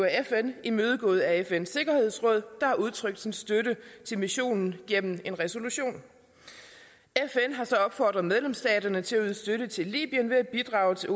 fn imødekommet af fns sikkerhedsråd der har udtrykt sin støtte til missionen gennem en resolution fn har så opfordret medlemsstaterne til at yde støtte til libyen ved at bidrage til